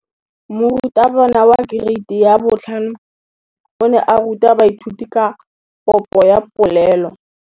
Moratabana wa kereiti ya 5 o ne a ruta baithuti ka popô ya polelô.